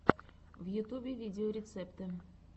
в ютубе видеорецепты